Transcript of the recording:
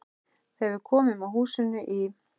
Þegar við komum að húsinu í